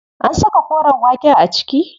An saka koren waken a ciki?